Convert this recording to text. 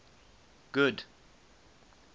good